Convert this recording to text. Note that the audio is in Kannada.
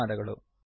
ಧನ್ಯವಾದಗಳು